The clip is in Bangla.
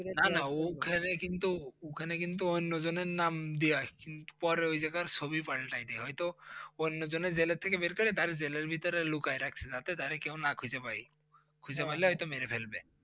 না না উখানে কিন্তু উখানে কিন্তু ওইন্য জনের নাম দেওয়া আসে কিন্তু পরে ওই জাগার ছবি পালটাই দেয় হয়তো ওইন্য জনরে জেল থেকে বের করে তারে জেলের ভিতরে লুকায়ে রাখসে যাতে তারে কেউ না খুঁজে পায়। খুঁজে পাইলে হয়তো মেরে ফেলবে।